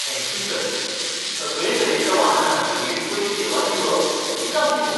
Thank you sir, सगळें तरेच्या वाहनांक बेस बरी सेवा दिवप हीच आमची मोख.